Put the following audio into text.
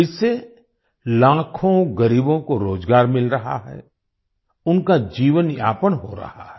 इससे लाखों गरीबों को रोजगार मिल रहा है उनका जीवनयापन हो रहा है